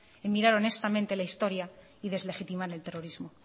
en mirar honestamente la historia y deslegitimar el terrorismo